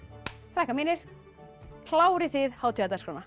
krakkar mínir klárið þið